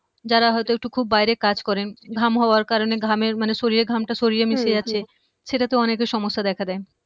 যারা হয়তো একটু খুব বাইরে কাজ করেন ঘাম হওয়ার কারণে ঘামের মানে শরীরের ঘামটা শরীরে মিশে যাচ্ছে হম সেটাতেও অনেকের সমস্যা দেখা দেয়